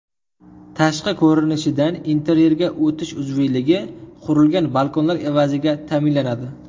Tashqi ko‘rinishdan interyerga o‘tish uzviyligi qurilgan balkonlar evaziga ta’minlanadi.